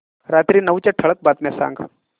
रात्री नऊच्या ठळक बातम्या सांग